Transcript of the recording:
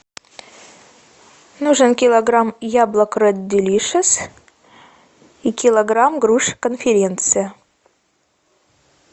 нужен килограмм яблок ред делишес и килограмм груш конференция